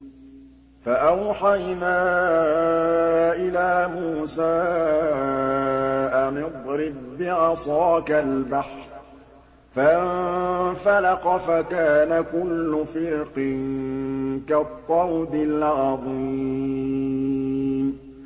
فَأَوْحَيْنَا إِلَىٰ مُوسَىٰ أَنِ اضْرِب بِّعَصَاكَ الْبَحْرَ ۖ فَانفَلَقَ فَكَانَ كُلُّ فِرْقٍ كَالطَّوْدِ الْعَظِيمِ